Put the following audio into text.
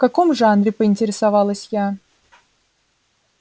в каком жанре поинтересовалась я